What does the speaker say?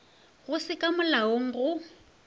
go se ka molaong go